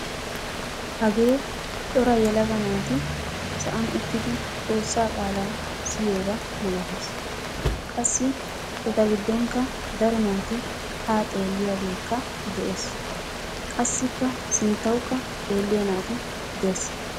Hagee cora yelaga naati sa'an uttidi xoossaa qaalaa siyiyooba malatees. qassi eta gidonkka daro naati haa xeeliyaagekka dees qassikka sinttawukka xeelliyaa naati de'ees.